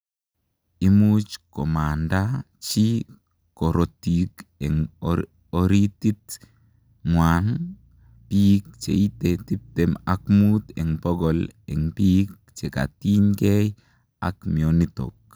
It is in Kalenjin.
Imuuch komandaa chii korotik eng oritit ngwaang piik cheitee tiptem ak muut eng pokol eng piik chekatiny gei ak mianitok